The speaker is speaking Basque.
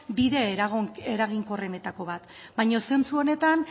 bide eraginkorrenetako bat baina zentzu honetan